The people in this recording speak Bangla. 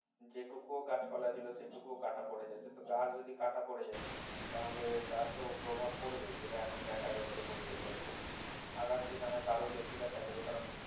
যেটুকু ও গাছপালা ছিল সেটুকুও কাঁটা পড়ে যাচ্ছে তো গাছ যদি কাটা পরে যায় তাহলে তার তো প্রভাব পড়বেই যেটা এখন দেখা যাচ্ছে পরিবেশের ওপর আগামী দিনে হয়তো আরো বেশি দেখা যাবে কারণ